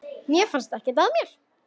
Mér fannst ekkert að mér.